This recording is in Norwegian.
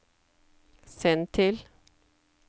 send til